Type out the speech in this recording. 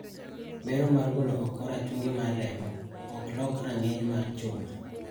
Bero mar golo oko rachungi mar remo oklok rang`iny mar chuma.